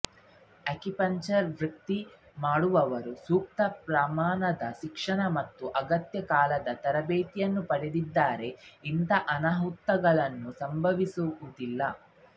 acupuncture ವೃತ್ತಿ ಮಾಡುವವರು ಸೂಕ್ತ ಪ್ರಮಾಣದ ಶಿಕ್ಷಣ ಮತ್ತು ಅಗತ್ಯ ಕಾಲದ ತರಬೇತಿ ಪಡೆದದ್ದಾದರೆ ಇಂತಹ ಅನಾಹುತಗಳು ಸಂಭವಿಸುವುದಿಲ್ಲ